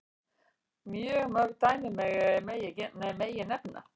Mörg fleiri dæmi megi nefna.